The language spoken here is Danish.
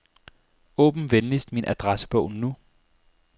Åbn venligst min adressebog nu.